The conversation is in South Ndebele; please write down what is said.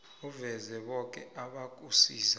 uveze boke abakusiza